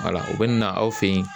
Wala o bɛ na aw fɛ yen